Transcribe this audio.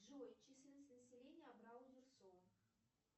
джой численность населения абрау дюрсо